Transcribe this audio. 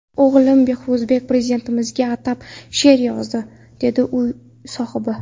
O‘g‘lim Behruzbek Prezidentimizga atab she’r yozdi”, dedi uy sohibi.